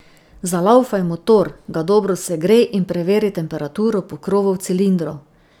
Zalaufaj motor, ga dobro segrej in preveri temperaturo pokrovov cilindrov.